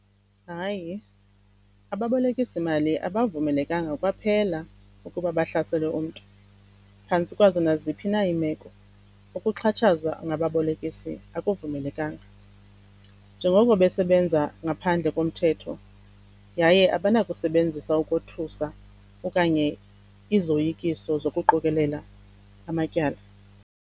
Hayi, ababolekisi mali abavumelekanga kwaphela ukuba bahlasele umntu phantsi kwazo naziphi na iimeko. Ukuxhatshazwa ngababolekisi akuvumelekanga njengoko besebenza ngaphandle komthetho, yaye abanakusebenzisa ukothusa okanye izoyikiso zokuqokelela amatyala.